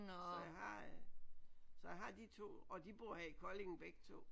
Så jeg har øh så jeg har de to og de bor i Kolding begge to